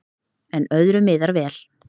En öðru miðar vel.